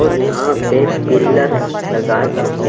और यहां पे पिलर लगा चुके --